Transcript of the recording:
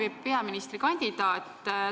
Hea peaministrikandidaat!